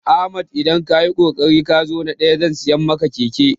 Ahmad idan kayi kokari kazo na ɗaya zan siya ma keke